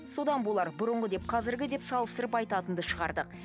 содан болар бұрынғы деп қазіргі деп салыстырып айтатынды шығардық